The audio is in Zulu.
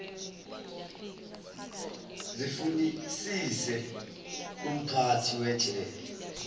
zifunisise kumphathi wejele